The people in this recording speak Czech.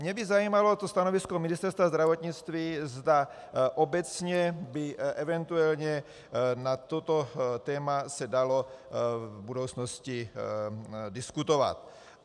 Mě by zajímalo to stanovisko Ministerstva zdravotnictví, zda obecně by eventuálně na toto téma se dalo v budoucnosti diskutovat.